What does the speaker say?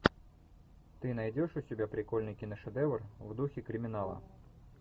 ты найдешь у себя прикольный киношедевр в духе криминала